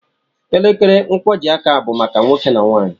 Elekere nkwọjiaka bụ maka nwoke na nwaanyị.